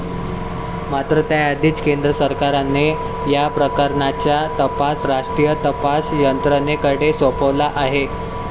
मात्र त्याआधीचं केंद्र सरकारने या प्रकरणाचा तपास राष्ट्रीय तपास यंत्रणेकडे सोपवलं आहे.